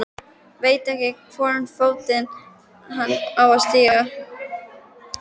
Veit ekki í hvorn fótinn hann á að stíga.